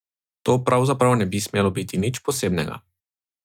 To pravzaprav ne bi smelo biti nič posebnega.